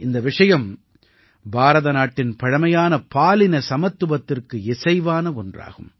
இந்த விஷயம் பாரத நாட்டின் பழமையான பாலின சமத்துவத்திற்கு இசைவான ஒன்றாகும்